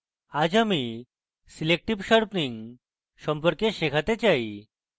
আজ আমি selective sharpening selective sharpening সম্পর্কে শেখাতে চাই